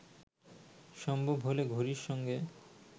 সম্ভব হলে ঘড়ির সঙ্গে